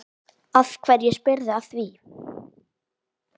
Af hverju spyrðu að því?